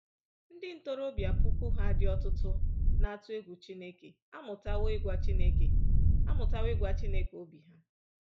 Ndị ntorobịa puku ha dị ọtụtụ na-atụ egwu Chineke amụtawo ịgwa Chineke amụtawo ịgwa Chineke obi ha.